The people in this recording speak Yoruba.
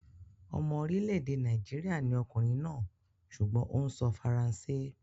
Ọmọ orílẹ̀-èdè Nàìjíríà ni ọkùnrin náà sùgbọ́n ó ń sọ faransé.